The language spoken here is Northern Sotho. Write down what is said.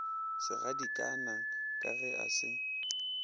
segadikana ka ge a se